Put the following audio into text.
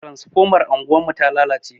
Transfomar anguwarmu ta lalace.